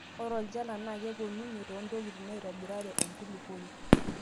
Ore olchala naa keponunye toontokitin naitobirare enkulukuoni.